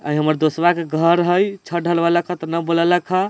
अ ई हमर दोस्तवा के घर हई छत्त ढलवैलक ह त ना बुलैलक ह।